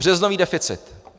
Březnový deficit.